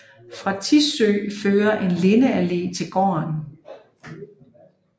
Fra Tissø fører en lindeallé til gården